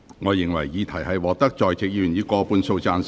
我認為議題獲得在席議員以過半數贊成。